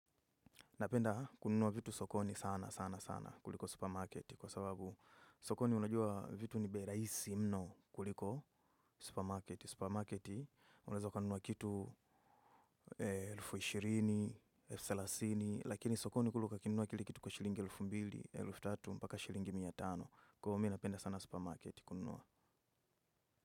Napenda kununua vitu sokoni sana, sana, sana kuliko supermarketi kwa sababu sokoni unajua vitu ni beraisi mno kuliko supermarketi. Supermarketi, unazo kanunua kitu elfu ishirini, elfu thelathini, lakini sokoni kuluka kinunua kili kitu kwa shilingi elfu mbili, elfu thelathini, mpaka shilingi miyatano. Kwa hiyo mi, napenda sana supermarketi kununua.